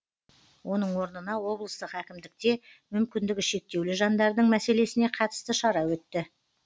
оның орнына облыстық әкімдікте мүмкіндігі шектеулі жандардың мәселесіне қатысты шара өтті